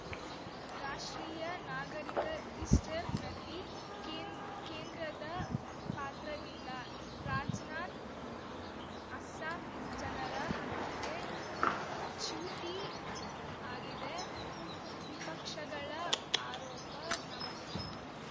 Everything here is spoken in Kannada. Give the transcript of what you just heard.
ರಾಷ್ಟ್ರೀಯ ನಾಗರಿಕ ರಿಜಿಸ್ಟರ್‌ನಲ್ಲಿ ಕೇಂ ಕೇಂದ್ರದ ಪಾತ್ರವಿಲ್ಲ ರಾಜ್ ನಾಥ್‌ ಅಸ್ಸಾಂ ಜನರ ಹಕ್ಕಿಗೆ ಚ್ಯೂತಿ ಆಗಿದೆ ವಿಪಕ್ಷಗಳ ಆರೋಪ ನವದೆಹಲಿ